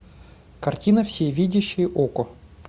картина всевидящее око